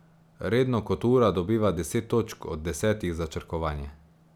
Redno kot ura dobiva deset točk od desetih za črkovanje.